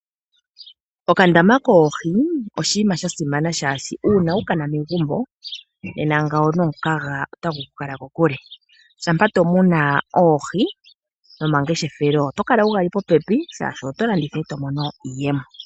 Okandama koohi oshinima sha simana shaashi uuna wukana megumbo nena ngawo nomukaga ota gu ku kala kokule. Shampa tomuna oohi nomangeshefelo oto kala wu ga li popepi shaashi oto landitha eto mono iiyemo.